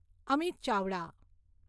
Amit Chavda